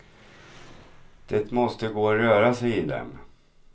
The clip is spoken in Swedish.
Det måste gå att röra sig i dem.